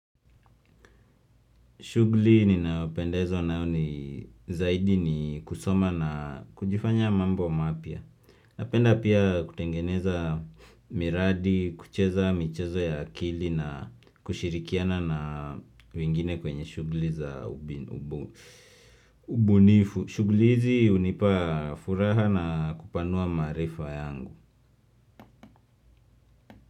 Shugli ninaopendezwa nayo zaidi ni kusoma na kujifanya mambo mapya. Napenda pia kutengeneza miradi, kucheza michezo ya akili na kushirikiana na wengine kwenye shugli za ubunifu. Shugli hizi unipa furaha na kupanua maarifa yangu.